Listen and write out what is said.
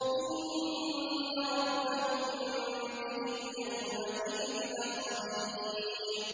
إِنَّ رَبَّهُم بِهِمْ يَوْمَئِذٍ لَّخَبِيرٌ